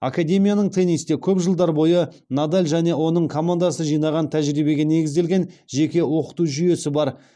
академияның теннисте көп жылдар бойы надаль және оның командасы жинаған тәжірибеге негізделген жеке оқыту жүйесі бар